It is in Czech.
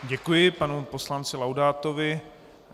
Děkuji panu poslanci Laudátovi.